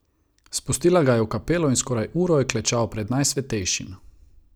Spustila ga je v kapelo in skoraj uro je klečal pred Najsvetejšim.